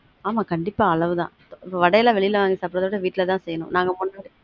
ஆமா கண்டீப்பா அளவு தான் வட எல்லாம் வெளில வாங்கி சாப்டுறத விட வீட்ல தான் செய்யணும் நாங்க முன்னாடி